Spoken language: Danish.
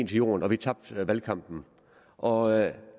jorden og vi tabte valgkampen og